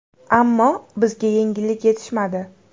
Ammo bizga yengillik yetishmadi.